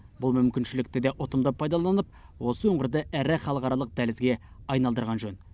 бұл мүмкіншілікті де ұтымды пайдаланып осы өңірді ірі халықаралық дәлізге айналдырған жөн